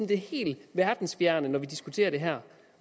helt verdensfjerne når vi diskuterer det her